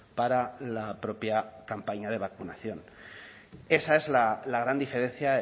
para la propia campaña de vacunación esa es la gran diferencia